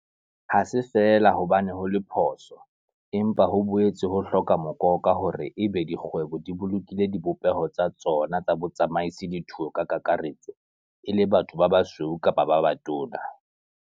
Ha se feela hobane ho le phoso, empa ho boetse ho hloka mokoka, hore e be di kgwebo di bolokile dibopeho tsa tsona tsa botsamaisi le thuo ka kakaretso e le batho ba basweu kapa ba batona.